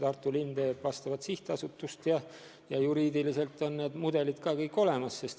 Tartu linn teeb selleks eraldi sihtasutust ja juriidiliselt on vajalikud mudelid ka kõik olemas.